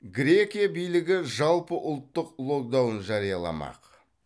грекия билігі жалпыұлттық локдаун жарияламақ